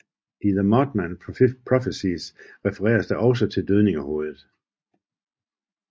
I The Mothman Prophecies refereres der også til dødningehovedet